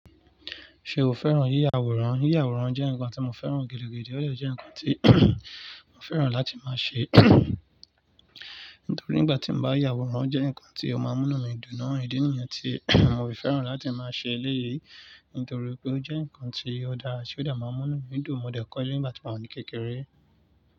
Ṣé o fẹ́ràn yíya àwòrán? Yíya àwòrán jẹ́ nǹkan tí mo fẹ́ràn gidi gan. Éleyii jẹ́ nǹkan tí mo fẹ́ràn láti máa ṣe, nítorí nígbà tí mo bá ya àwòrán jẹ́ nǹkan tí ó máa ń múnú mi dùn. O ìdí nìyẹn tí mo fi fẹ́ràn láti máa ṣe eléyìí, nítorí pé ó jẹ́ nǹkan tí ó dára tí ó dà máa ń múnú mi dùn. Mo dẹ̀ kọ́ ẹleyii nígbà tí mò ń ní kékeré.